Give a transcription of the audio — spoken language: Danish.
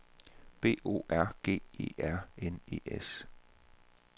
B O R G E R N E S